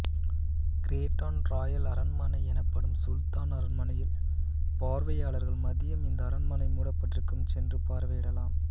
Kraton royal அரண்மனை எனப்படும் சுல்தான் அரண்மனையில் பார்வையாளர்கள் மதியம் இந்த அரண்மனை மூடப்பட்டிருக்கும் சென்று பார்வையிடலாம்